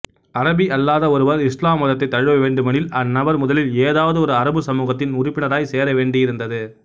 அரபியல்லாத ஒருவர் இசுலாம் மதத்தை தழுவ வேண்டுமெனில் அந்நபர் முதலில் ஏதாவதொரு அரபுச் சமூகத்தின் உறுப்பினராய் சேர வேண்டியிருந்தது